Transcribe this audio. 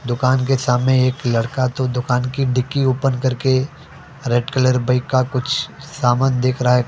दुकान के सामने एक लड़का तो दुकान की डिक्की ओपन करके रेड कलर बाइक का कुछ सामान देख रहा है।